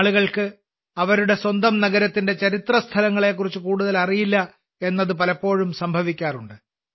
ആളുകൾക്ക് അവരുടെ സ്വന്തം നഗരത്തിന്റെ ചരിത്രസ്ഥലങ്ങളെക്കുറിച്ച് കൂടുതൽ അറിയില്ല എന്നത് പലപ്പോഴും സംഭവിക്കാറുണ്ട്